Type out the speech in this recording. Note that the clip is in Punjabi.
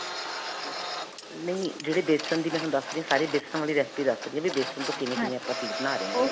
ਨਹੀਂ, ਜਿਹੜੇ ਬੇਸਨ ਦੀ ਮੈਂ ਤੁਹਾਨੂੰ ਦਸ ਰਹੀ ਸਾਰੀ ਬੇਸਨ ਵਾਲੀ recipe ਦਸ ਰਹੀ ਹਾਂ ਵੀ ਬੇਸਨ ਤੋਂ ਕਿਵੇਂ ਕਿਵੇਂ ਆਪਾਂ ਚੀਜ਼ ਬਣਾ ਰਹੇ .